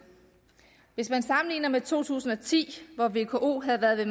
hvis man sammenligner med to tusind og ti hvor vko havde været ved